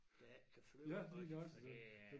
Der ikke kan flyve iggås for det er